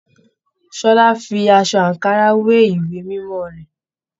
Ṣọlá fí aṣọ ankara we ìwé mímọ rẹ.